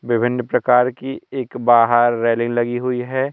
विभिन्न प्रकार की एक बाहर रेलिंग लगी हुई है।